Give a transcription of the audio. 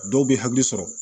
Dɔw bɛ hakili sɔrɔ